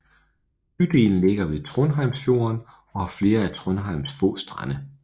Bydelen ligger ved Trondheimsfjorden og har flere af Trondheims få strande